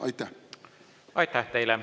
Aitäh teile!